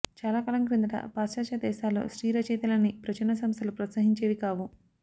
చాలాకాలం క్రిందట పాశ్చాత్య దేశాల్లో స్త్రీ రచయితలని ప్రచురణ సంస్థలు ప్రోత్సహించేవి కావు